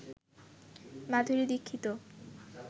Madhuri Dixit